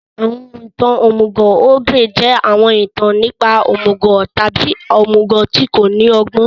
Àwọn ìtàn òmùgọ̀ ogre jẹ́ àwọn ìtàn nípa òmùgọ̀ tàbí òmùgọ̀ tí kò ní ọgbọ́n.